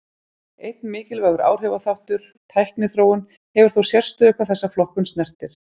Einn mikilvægur áhrifaþáttur, tækniþróun, hefur þó sérstöðu hvað þessa flokkun snertir.